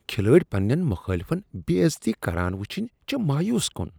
کھلٲڑۍ پننین مخٲلفن بے عزتی کران ؤچھنۍ چھ مایوس کن۔